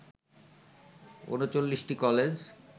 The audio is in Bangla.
৩৯টি কলেজ